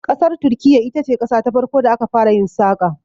Ƙasar Turkiyya ita ce qasa ta farko da aka fara yin saƙa.